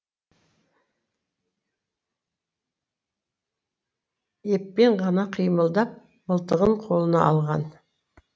еппен ғана қимылдап мылтығын қолына алған